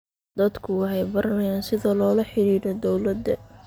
Dadku waxay baranayaan sida loola xidhiidho dawladda.